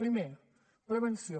primer prevenció